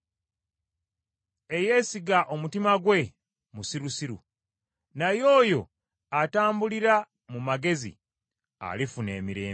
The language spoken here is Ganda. Eyeesiga omutima gwe, musirusiru, naye oyo atambulira mu magezi alifuna emirembe.